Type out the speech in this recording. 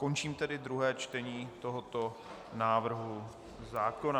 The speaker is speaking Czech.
Končím tedy druhé čtení tohoto návrhu zákona.